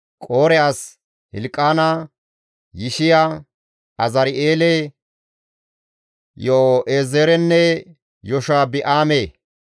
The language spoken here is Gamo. Qoore as Hilqaana, Yishiya, Azari7eele, Yo7eezerenne Yashobi7aame,